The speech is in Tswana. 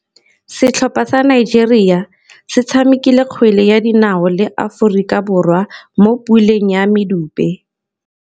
Setlhopha sa Nigeria se tshamekile kgwele ya dinaô le Aforika Borwa mo puleng ya medupe.